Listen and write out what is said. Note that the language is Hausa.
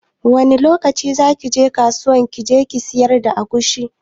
Wani lokaci zaki je kasuwa kije kisiyar da agushi